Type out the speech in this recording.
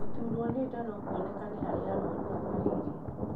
Gũturwo nĩ nda no kuonekane harĩ arwaru a malaria.